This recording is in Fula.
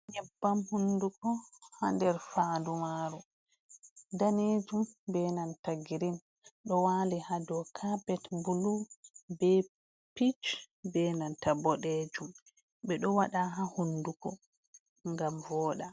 Nyebbam hunduko ha nder fandu maru danejum, be nanta girin, ɗo wali ha dou kapet bulu, be pich, be nanta boɗejum, ɓe ɗo waɗa ha hunduko ngam voɗa.